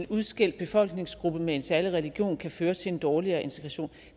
af en udskældt befolkningsgruppe med en særlig religion kan føre til en dårligere integration